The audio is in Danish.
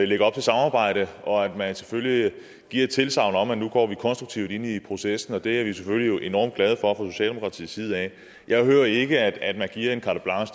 lægger op til samarbejde og at man selvfølgelig giver et tilsagn om at vi nu går konstruktivt ind i processen og det er vi jo selvfølgelig enormt glade for socialdemokratiets side af jeg hører ikke at man giver en carte blanche